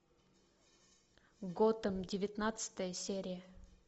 готэм девятнадцатая серия